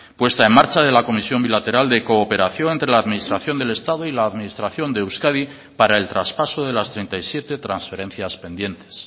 puesta en marcha de la comisión bilateral de cooperación entre la administración del estado y la administración de euskadi para el traspaso de las treinta y siete transferencias pendientes